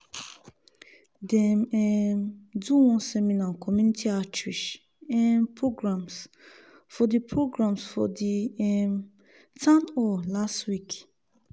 dem um do one seminar on community outreach um programs for the programs for the um town hall last week.